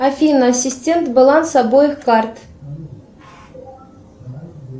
афина ассистент баланс обоих карт